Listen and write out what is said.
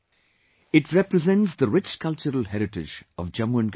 It represents the rich cultural heritage of Jammu and Kashmir